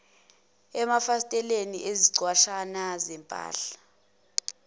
emafasiteleni izinqwatshana zempahla